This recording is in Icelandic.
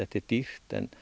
er dýrt en